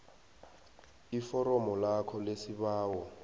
iforomo lakho lesibawo